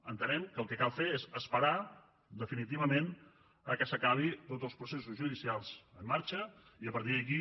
entenem que el que cal fer és esperar definitivament que s’acabin tots els processos judicials en marxa i a partir d’aquí